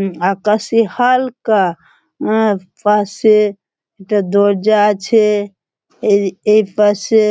উঁ আকাশে হা-আ-লকা আ পশেএ একটা দরজা আছে এই এর পাশে